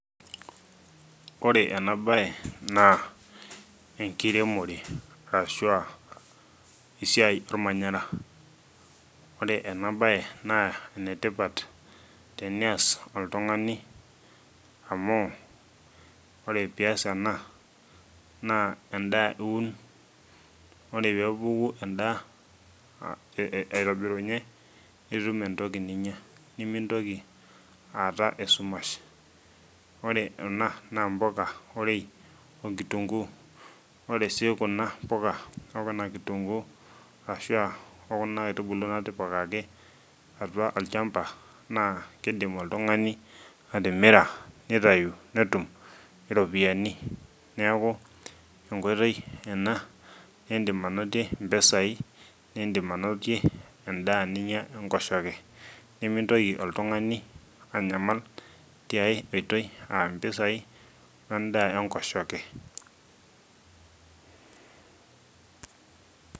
Ore ena baye naa enkiremore arashua esiai ormanyara ore ena baye naa enetipat teneas oltung'ani amu ore piyas ena naa endaa iun ore peku endaa aitobirunye nitum entoki niinyia nimintoki aata esumash ore ena naa impuka orei onkitunguu ore sii kuna puka okuna kitunguu ashua okuna aitubulu natipikaki atua olchamba naa kidim oltung'ani atimira nitayu netum iropiyiani neeku enkoitoi ena nindim anotie impisai nindim anotie endaa ninyia enkoshoke nemintoki oltung'ani anyamal tiae oitoi ampisai wendaa enkoshoke.